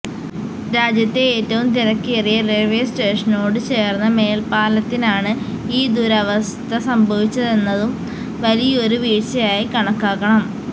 രാജ്യത്തെ ഏറ്റവും തിരക്കേറിയ റെയില്വേ സ്റ്റേഷനോട് ചേര്ന്ന മേല്പ്പാലത്തിനാണ് ഈ ദുരവസ്ഥ സംഭവിച്ചതെന്നതും വലിയൊരു വീഴ്ചയായി കണക്കാക്കണം